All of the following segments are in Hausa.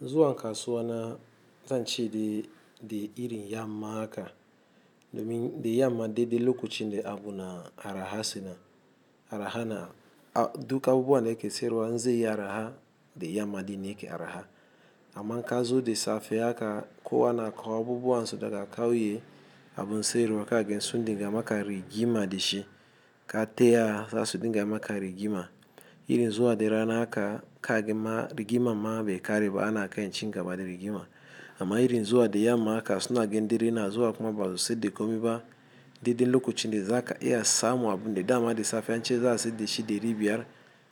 Zuwa kasuwa na zan ce de, de irin yamma haka, domin de yamma de, de lokacin de abu na araha suna, araha na, a duk abubuwan da ke siyarwa in zeyi araha de yamma din ne ke araha. Amma kazo de safe haka, kowa na kawo abubuwan su daga kauye, abun siyarwa ka gansu dinga maka rigima de shi, ka taya za su dinga maka rigima. Irin zuwa de rana haka, ka gama rigimam mabe kare ba ana kan cin gaba da rigima. Amma irin zuwa de yamma haka suna ganin dare na zuwa kuma basu sai de komi ba de, de lokacin de za ka iya samu abu ne dama de safe an ce za su de shi deri biyar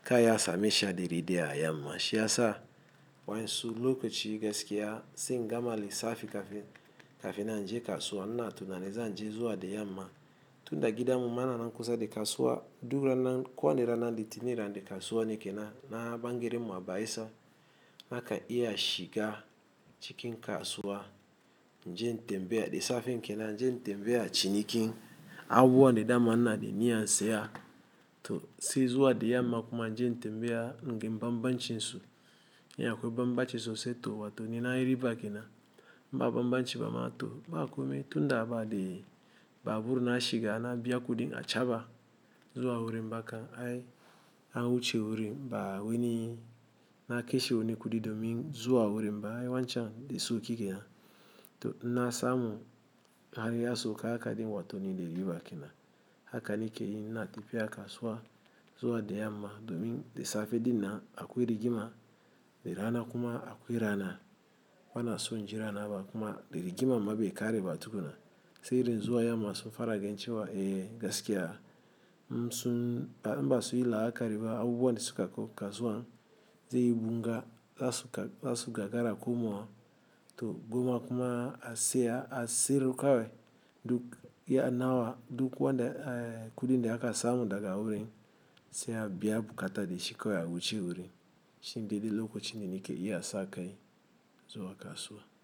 ka iya same shi a deri daya a yamma. Shi ya sa wain su lokaci gaskiya sai in gama lissafi kafin, kafin nan inje kasuwa. Ina tunanin zan je zuwa de yamma. Tun da gidan mu ma na kusa de kasuwa duk ranan kowani ranar litini rana de kasuwa ne ke nan, na garimmu mu a bayelsa baka iya shiga cikin kasuwa. Jen tembaya de safen ke nan inje in tembeya cinikin abubuwan da dama inade niyyan siya to sai zuwa de yamma kuma inje in tembiya in ga bambancin su. Idan akwai bambance sosai to wato nina yi riba ke nan. Ba bambanci ba ma to ba a komai. Tun da a ba de babur na shiga na biya kudin achaba zuwa wurin ba kan ai an wuce wurin ba wani na kashe wani kudi domin zuwa wurin ba ai wancan me sauki kenan. To inna samu har ya sauka haka dinga wato nine de riba ke nan. Haka ne ke yi ina tafiya kasuwa zuwa da yamma domin da safe dinnan akwai rigima da rana kuma akwai rana. Bana son inji rana ba kuma de rigima ma be kare ba tukuna. Sai irin zuwa yamma sun fara ganin cewa eh gaskiya. Tun, ba in ba sun yi la'akari ba abubuwan da suka kawo kasuwan zai yi bunga za su, za su gagara komawa. To gwamma kuma a saya a siyar kawai, duk iya nawa duk wanda eh kudin da aka samu daga wurin sai a biya bukata da shi kawai a wuce wurin. Shine dede lokacin da na ke iya sakai zuwa kasuwa.